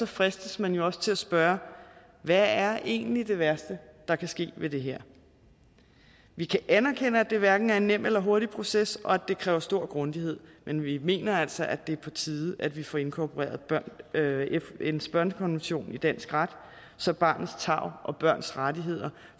fristes man også til at spørge hvad er egentlig det værste der kan ske ved det her vi kan anerkende at det hverken er en nem eller hurtig proces og at det kræver stor grundighed men vi mener altså at det er på tide at vi får inkorporeret fns børnekonvention i dansk ret så barnets tarv og børns rettigheder